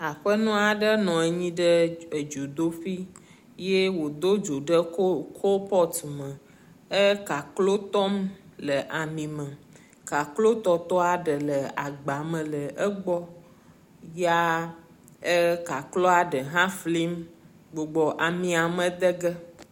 aƒenɔaɖe nɔnyiɖe edzodoƒi ye wò dó dzo ɖe kópɔt me é kaklo tɔm le ami me kaklo tɔtɔa ɖe le agbame le egbɔ ya é kakloa ɖe hã flim gbugbɔ amia me dege